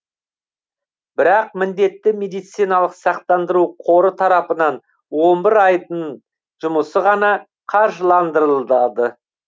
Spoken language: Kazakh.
бірақ міндетті медициналық сақтандыру қоры тарапынан он бір айдын жұмысы ғана қаржыландырылады